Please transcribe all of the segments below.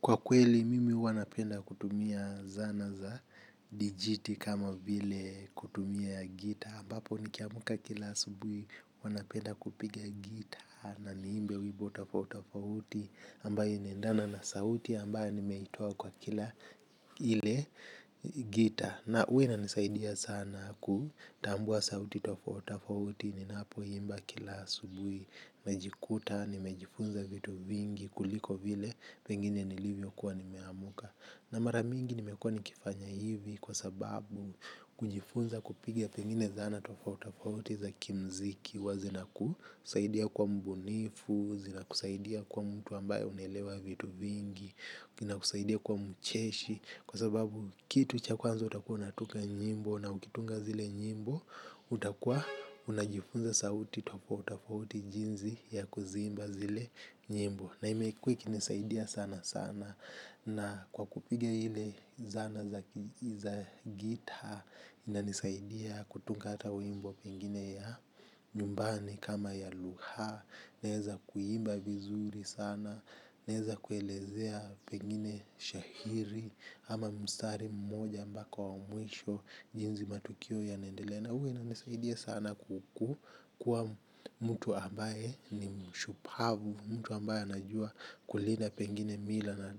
Kwa kweli, mimi huwa napenda kutumia zana za dijiti kama vile kutumia ya gitaa, ambapo nikiamka kila asubuhi huwa napenda kupiga gitaa na niimbe wimbo tofauti tofauti ambayo inaendana na sauti ambayo nimeitoa kwa kila ile gitaa. Na huwa inanisaidia sana kutambua sauti tofauti tofauti ninapo imba kila asubuhi najikuta, nimejifunza vitu vingi kuliko vile pengine nilivyo kuwa nimeamuka na maramingi nimekuwa nikifanya hivi kwa sababu kujifunza kupiga pengine zana tofauti tofauti za kimuziki huwa zina kusaidia kuwa mbunifu zina kusaidia kwa mtu ambaye unaelewa vitu vingi kusaidia kwa mcheshi. Kwa sababu kitu cha kwanza utakua unatunga nyimbo na ukitunga zile nyimbo, utakua unajifunza sauti, tofauti tofauti jinsi ya kuziimba zile nyimbo. Na imekuwa ikinisaidia sana sana na kwa kupiga ile zana za gitaa, ina nisaidia kutunga hata wimbo pengine ya nyumbani kama ya lugha. Naweza kuimba vizuri sana na naweza kuelezea pengine shairi ama mstari mmoja mpaka wa mwisho jinsi matukio yanaendelea na huwa inanisaidia sana kuku kuwa mtu ambaye ni mshupavu mtu ambaye anajua kulinda pengine mila na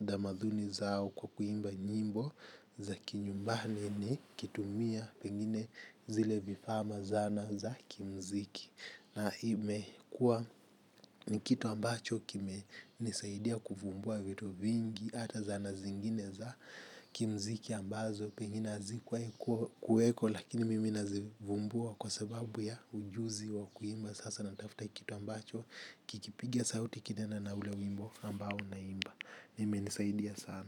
damadhuni zao kwa kuimba nyimbo za kinyumbani nikitumia pengine zile vifaaa na zana za kimuziki. Na imekua ni kitu ambacho kimenisaidia kuvumbua vitu vingi hata zana zingine za kimuziki ambazo pengine hazikuwahi kuweko lakini mimi nazivumbua kwa sababu ya ujuzi wa kuimba. Sasa natafuta kitu ambacho kikipiga sauti kinaenda na ule wimbo ambao naimba hii imenisaidia sana.